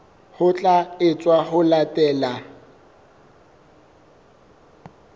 ho tla etswa ho latela